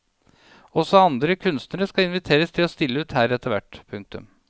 Også andre kunstnere skal inviteres til å stille ut her etter hvert. punktum